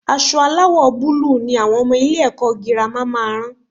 Aṣọ aláwò búlúù ni àwọn ọmọ ilé-ẹ̀kọ́ girama máa rán